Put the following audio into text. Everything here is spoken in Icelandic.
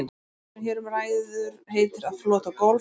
Verknaðurinn sem hér um ræður heitir að flota gólf.